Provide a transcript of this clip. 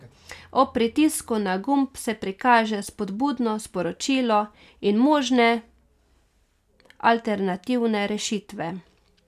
Ob pritisku na gumb se prikaže spodbudno sporočilo in možne alternativne rešitve.